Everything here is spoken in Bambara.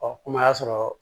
Ɔ ko y'a sɔrɔ